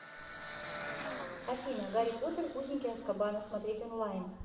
афина гарри потер узники азкабана смотреть онлайн